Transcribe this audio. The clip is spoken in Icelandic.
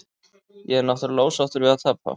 Ég er náttúrulega ósáttur við að tapa.